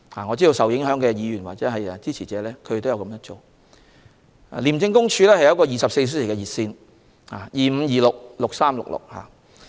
我知道受影響的議員及其支持者亦有這樣做，而廉政公署也提供24小時熱線，電話號碼是 2526,6366。